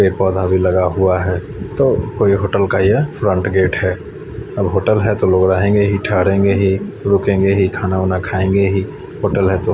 एक पौधा भी लगा हुआ है तो कोई होटल का यह फ्रंट गेट है अब होटल है तो लोग रहेंगे ही ठहरेंगे ही रुकेंगे ही खाना वाना खाएंगे ही होटल है तो--